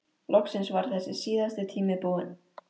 Loksins var þessi síðasti tími búinn.